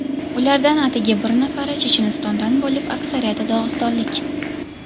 Ulardan atigi bir nafari Chechenistondan bo‘lib, aksariyati dog‘istonlik.